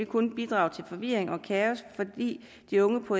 kun bidrager til forvirring og kaos fordi de unge på